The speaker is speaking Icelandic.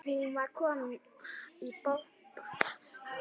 Hún var komin í bobba.